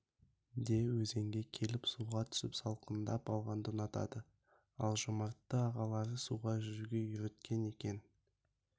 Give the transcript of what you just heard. де өзенге келіп суға түсіп салқындап алғанды ұнатады ал жомартты ағалары суға жүзуге үйреткен екен